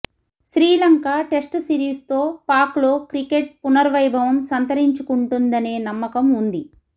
Sri Lanka test సిరీస్తో పాక్లో cricket పునర్వైభవం సంతరించుకుంటదనే నమ్మకం ఉంది